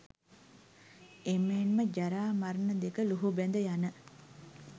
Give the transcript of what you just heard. එමෙන්ම ජරා, මරණ දෙක ලුහුබැඳ යන